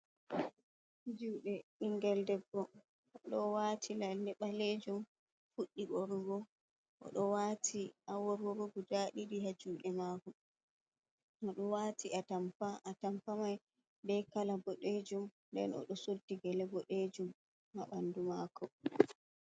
Juɗe ɓingel debbo oɗo wati lalle ɓalejum fuɗɗi ɓorugo, oɗo wati a worworo guda ɗiɗi ha juɗe oɗo wati a tampa tampani be kala boɗejum nden oɗo soddi gele boɗejum ma ɓandu mako.